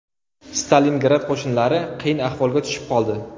Stalingrad qo‘shinlari qiyin ahvolga tushib qoldi.